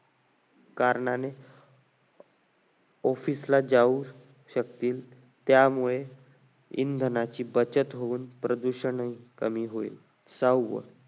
कारणाने office ला जाऊ शकतील त्यामुळे इंधनाची बचत होईल प्रदूषण ही कमी होईल सहावं